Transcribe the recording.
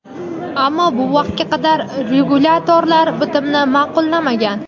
ammo bu vaqtga qadar regulyatorlar bitimni ma’qullamagan.